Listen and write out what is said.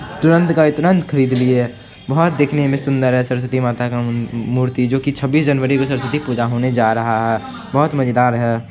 तुरंत का तुरंत खरीद लिए हैं बहुत दिखने में सुन्दर सरस्वती माता का मूर्ति जो की छब्बीस जनवरी को सरस्वती पूजा होने जा रहा है बहुत मज़ेदार है।